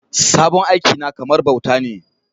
Sabon aiki na kamar bauta ne